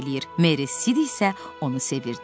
Meri Sid isə onu sevirdi.